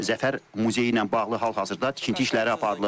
Zəfər muzeyi ilə bağlı hal-hazırda tikinti işləri aparılır.